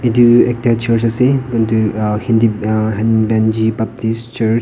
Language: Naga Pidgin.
etu ekta church ase etu ah hindi ah henbenji baptist church .